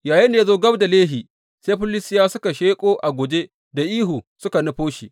Yayinda ya zo gab da Lehi, sai Filistiyawa suka sheƙo a guje da ihu suka nufo shi.